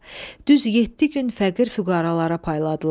Düz yeddi gün fəqir-füqəralara payladılar.